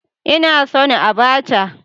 Ina son Abacha